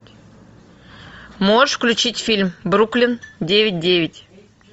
можешь включить фильм бруклин девять девять